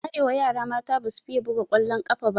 A arewa yara mata basu fiye buga ƙwallon ƙafa ba.